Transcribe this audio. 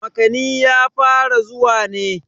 makani ya fara zuwa ne